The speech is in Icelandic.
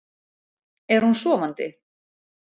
Er hún sofandi?